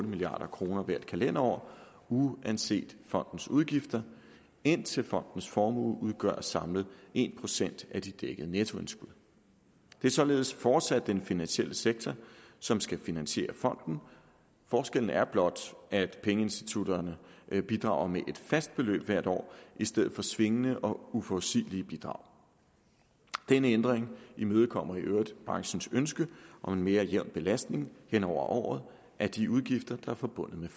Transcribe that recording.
milliard kroner hvert kalenderår uanset fondens udgifter indtil fondens formue udgør samlet en procent af de dækkede nettoindskud det er således fortsat den finansielle sektor som skal finansiere fonden forskellen er blot at pengeinstitutterne bidrager med et fast beløb hvert år i stedet for svingende og uforudsigelig bidrag denne ændring imødekommer i øvrigt branchens ønske om en mere jævn belastning hen over året af de udgifter der er forbundet med